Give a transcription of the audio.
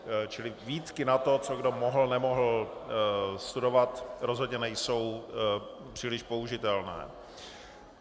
Čili výtky na to, co kdo mohl, nemohl studovat, rozhodně nejsou příliš použitelné.